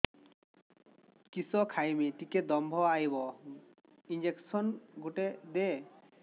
କିସ ଖାଇମି ଟିକେ ଦମ୍ଭ ଆଇବ ଇଞ୍ଜେକସନ ଗୁଟେ ଦେ